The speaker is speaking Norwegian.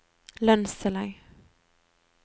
lønnstillegg